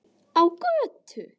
Á götu.